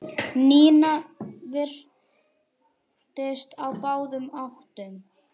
Nína virtist á báðum áttum.